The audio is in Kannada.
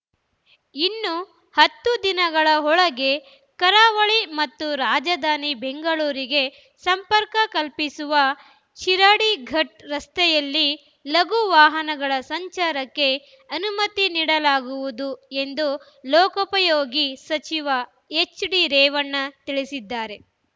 ಇನ್ನು ಹತ್ತು ದಿನಗಳ ಒಳಗೆ ಕರಾವಳಿ ಮತ್ತು ರಾಜಧಾನಿ ಬೆಂಗಳೂರಿಗೆ ಸಂಪರ್ಕ ಕಲ್ಪಿಸುವ ಶಿರಾಡಿಘಾಟ್‌ ರಸ್ತೆಯಲ್ಲಿ ಲಘು ವಾಹನಗಳ ಸಂಚಾರಕ್ಕೆ ಅನುಮತಿ ನೀಡಲಾಗುವುದು ಎಂದು ಲೋಕೋಪಯೋಗಿ ಸಚಿವ ಎಚ್‌ಡಿರೇವಣ್ಣ ತಿಳಿಸಿದ್ದಾರೆ